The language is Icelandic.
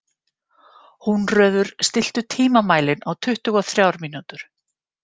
Húnröður, stilltu tímamælinn á tuttugu og þrjár mínútur.